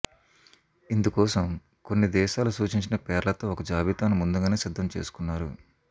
ఇందుకోసం కొన్ని దేశాలు సూచించిన పేర్లతో ఒక జాబితాను ముందుగానే సిద్ధం చేసుకున్నారు